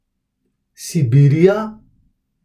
Sibirija?